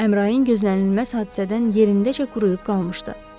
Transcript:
Əmrayın gözlənilməz hadisədən yerindəcə quruyub qalmışdı.